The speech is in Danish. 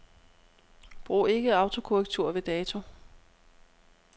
Brug ikke autokorrektur ved dato.